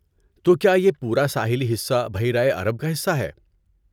تو کیا یہ پورا ساحلی حصہ بحیرہ عرب کا حصہ ہے؟